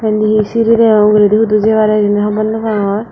baneya seri degong ogoredey hudu jepara hejani hobor nopangor.